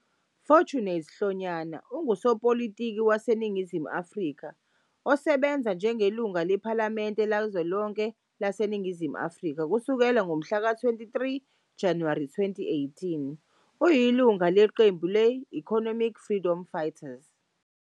Fortunate Hlonyana ungusopolitiki waseNingizimu Afrika osebenza njengelungu lePhalamende Likazwelonke laseNingizimu Afrika kusukela ngomhlaka 23 Januwari 2018. Uyilungu leqembu le- Economic Freedom Fighters.